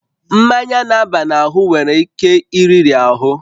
Mmanya na-aba n'anya nwere ike iriri ahụ